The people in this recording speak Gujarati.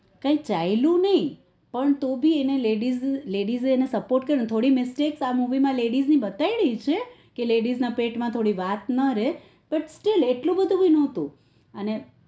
કાઈ ચાલ્યું નઈ પણ તો ભી એને ladies ladise sport કર્યો થોડો mistake આ movie માં ladies ની બતાઈ રહી છે કે ladies ના પેટમાં થોડી વાત ન રેય પણ સ્ટિલ એટલું બધું પણ નોતું